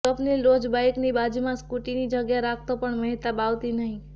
સ્વપ્નીલ રોજ બાઈકની બાજુમાં સ્કૂટીની જગ્યા રાખતો પણ મહેતાબ આવતી નહીં